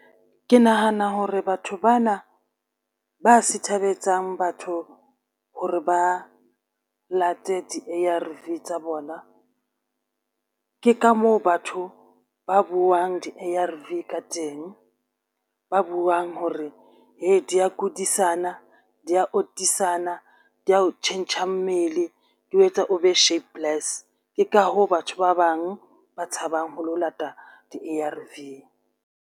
Ke nahana hore batho bana ba sithabetsang batho hore ba late di-A_R_V tsa bona. Ke ka moo batho ba buang di-A_R_V ka teng ba buwang hore he di ya kudisana di ya otisana di ya o tjhentjha mmele di o etsa o be sharpless. Ke ka hoo batho ba bang ba tshabang ho lo lata di-A_R_V.